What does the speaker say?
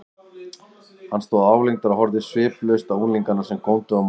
Hann stóð álengdar og horfði sviplaust á unglingana, sem góndu á móti.